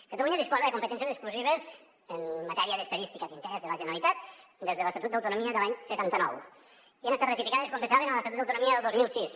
catalunya disposa de competències exclusives en matèria d’estadística d’interès de la generalitat des de l’estatut d’autonomia de l’any setanta nou i han estat ratificades com bé saben a l’estatut d’autonomia del dos mil sis